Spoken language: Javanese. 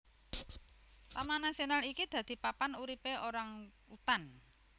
Taman nasional iki dadi papan uripe orangutan